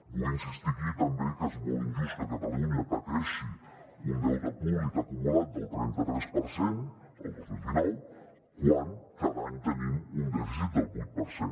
vull insistir aquí també que és molt injust que catalunya pateixi un deute públic acumulat del trenta tres per cent el dos mil dinou quan cada any tenim un dèficit del vuit per cent